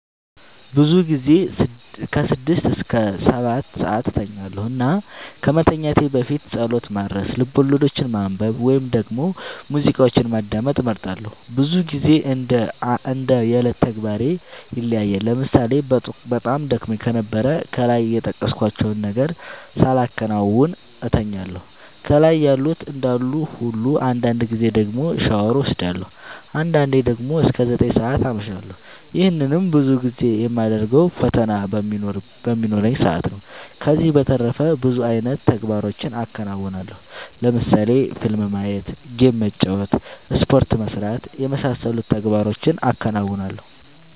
ብዙ ጊዜ ስድስት እስከ ሰባትሰዓት እተኛለሁ እና ከመተኛት በፊት ፀሎት ማድረስ፣ ልቦለዶችን ማንበብ ወይም ደግሞ ሙዚቃዎችን ማዳመጥ እመርጣለሁ። ብዙ ግዜ እንደ የዕለት ተግባሬ ይለያያል ለምሳሌ በጣም ደክሞኝ ከነበረ ከላይ የጠቀስኳቸውን ነገሮች ሳላከናውን እተኛለሁ ከላይ ያሉት እንዳሉ ሁሉ አንዳንድ ጊዜ ደግሞ ሻወር ወስዳለሁ። አንዳንዴ ደግሞ እስከ ዘጠኝ ሰዓት አመሻለሁ ይህንንም ብዙ ጊዜ የማደርገው ፈተና በሚኖረኝ ሰአት ነው። ከዚህ በተረፈ ብዙ አይነት ተግባሮችን አከናወናለሁ ለምሳሌ ፊልም ማየት ጌም መጫወት ስፖርት መስራት የመሳሰሉት ተግባሮቹን አከናውናለሁ።